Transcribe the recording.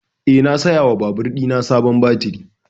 Eh, na saya wa babur ɗina sabon baturi